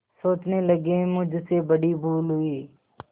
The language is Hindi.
सोचने लगेमुझसे बड़ी भूल हुई